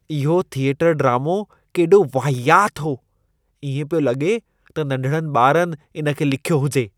इहो थिएटर ड्रामो केॾो वाहियात हो। इएं पियो लॻे त नंढड़नि ॿारनि इन खे लिखियो हुजे।